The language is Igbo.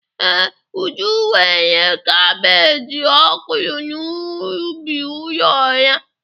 Ee, Uju nwere kabeeji ọ kụrụ n’ubi ụlọ ya